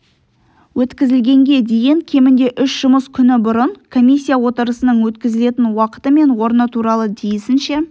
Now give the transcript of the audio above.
өткізілгенге дейін кемінде үш жұмыс күні бұрын комиссия отырысының өткізілетін уақыты мен орны туралы тиісінше